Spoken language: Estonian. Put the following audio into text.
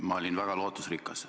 Ma olin väga lootusrikas.